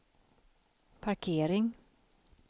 parkering